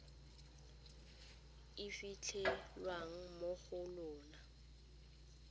e fitlhelwang mo go lona